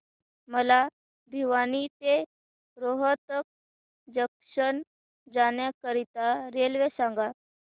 मला भिवानी ते रोहतक जंक्शन जाण्या करीता रेल्वे सांगा